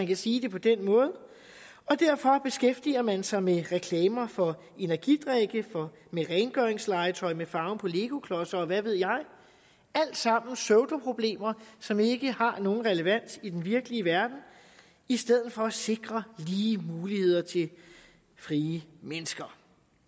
kan sige det på den måde og derfor beskæftiger man sig med reklamer for energidrikke med rengøringslegetøj men farven på legoklodser og hvad ved jeg alt sammen pseudoproblemer som ikke har nogen relevans i den virkelige verden i stedet for at man sikrer lige muligheder til frie mennesker